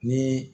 Ni